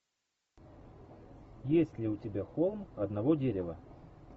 есть ли у тебя холм одного дерева